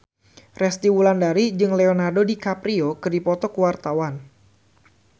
Resty Wulandari jeung Leonardo DiCaprio keur dipoto ku wartawan